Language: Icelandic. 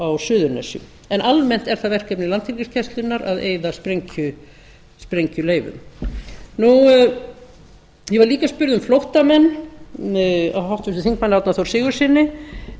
á suðurnesjum en almennt er það verkefni landhelgisgæslunnar að eyða sprengjuleifum ég var líka spurð um flóttamenn af háttvirtum þingmanni árna þór sigurðssyni